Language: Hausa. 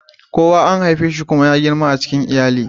Kowa an haife shi kuma ya girma a cikin iyali.